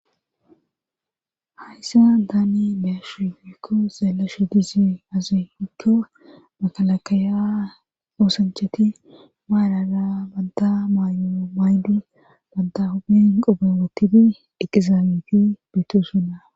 hayssa daane beyashufikko zaelashu dizi azeefikko makalakaya oosancheti maarara badda maayo maydi badda hobien qobe wottidi eqizaabeti beettosona